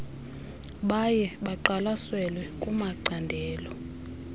baye baqwalaselwe kumacandelo